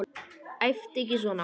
Æptu ekki svona!